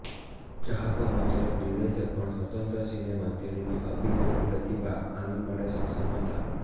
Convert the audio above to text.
ચાહકો માત્ર એક નિર્દેશક પણ સ્વતંત્ર સિનેમા તેણીની અભિનયની પ્રતિભા આનંદ માટે સક્ષમ હતા